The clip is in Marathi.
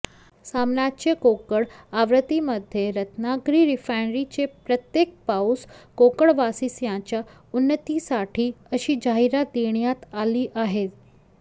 सामनाच्या कोकण आवृत्तीमध्ये रत्नागिरी रिफायनरीचे प्रत्येक पाऊस कोकणवासियांच्या उन्नतीसाठी अशी जाहिरात देण्यात आली आहे